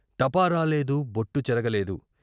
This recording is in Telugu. టపా రాలేదు బొట్టు చెరగలేదు.